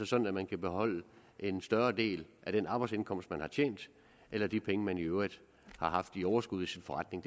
sådan at man kan beholde en større del af den arbejdsindkomst man har tjent eller af de penge man i øvrigt har haft i overskud i sin forretning